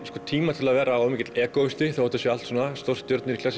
tíma til að vera of mikill þótt þetta séu stórstjörnur